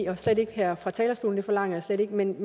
og slet ikke her fra talerstolen det forlanger jeg slet ikke men